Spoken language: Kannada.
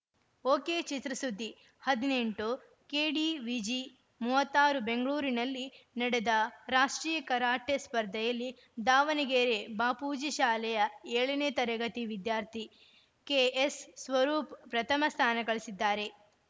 ಒಕೆಚಿತ್ರಸುದ್ದಿ ಹದಿನೆಂಟು ಕೆಡಿವಿಜಿ ಮೂವತ್ತ್ ಆರು ಬೆಂಗ್ಳೂರಿನಲ್ಲಿ ನಡೆದ ರಾಷ್ಟ್ರೀಯ ಕರಾಟೆ ಸ್ಪರ್ಧೆಯಲ್ಲಿ ದಾವಣಗೆರೆ ಬಾಪೂಜಿ ಶಾಲೆಯ ಏಳನೇ ತರಗತಿ ವಿದ್ಯಾರ್ಥಿ ಕೆಎಸ್‌ಸ್ವರೂಪ್ ಪ್ರಥಮ ಸ್ಥಾನಗಳಿಸಿದ್ದಾರೆ